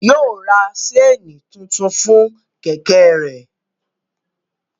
Yóò ra ṣéènì tuntun fún Kẹ̀kẹ́ rẹ̀